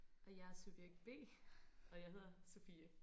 Og jeg subjekt B og jeg hedder Sofie